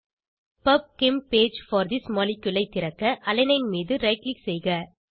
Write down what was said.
PubChem page for this molecule ஐ திறக்க alanine மீது ரைட் க்ளிக் செய்க